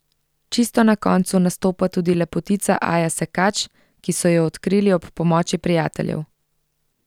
Čisto ob koncu nastopa tudi lepotica Aja Sekač, ki so jo odkrili ob pomoči prijateljev.